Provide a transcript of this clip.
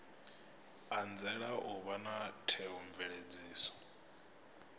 anzela u vha na theomveledziso